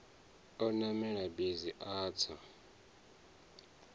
o namela bisi a tsa